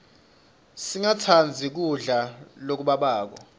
singatsandzi kudla lokubabako